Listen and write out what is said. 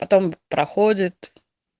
потом проходит